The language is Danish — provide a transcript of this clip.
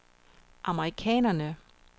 amerikanerne